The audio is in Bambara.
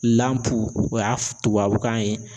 o y'a tubabukan ye